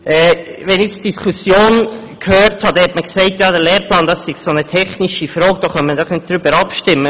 In der Diskussion habe ich nun gehört, der Lehrplan sei so eine technische Frage, darüber könne man doch nicht abstimmen.